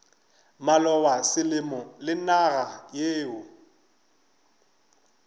maloba selemo le naga yeo